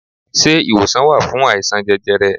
Se iwosan wa fun aisan jẹjẹrẹ?